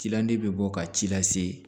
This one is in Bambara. Cilande bɛ bɔ ka ci lase